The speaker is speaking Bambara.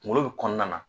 Kungolo bi kɔnɔna na